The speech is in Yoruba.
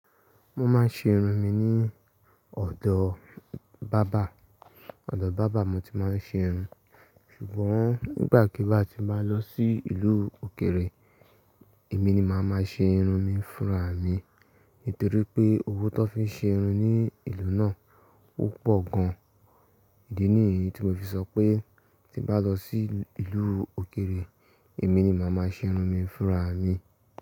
Mo máa ń ṣe irun mi ní ọ̀dọ̀ báábà, ọ̀dọ̀ báábà mo ti máa ń ṣe irun. Ṣùgbọ́n nígbàkigbà tí mbá lọ sí ìlú òkèrè, èmi ni màá máa ṣe irun mi fúnra mi. Nítorí pé owó tó fi ṣe irun ní ìlú náà ó pọ̀ gan. Ìdí ní èyí tí mo fi sọ pé tí mbàá lọ sí ìlú òkèrè, èmi ni màá máa ṣe irun mi fúnra mi.